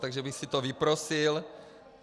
Takže bych si to vyprosil.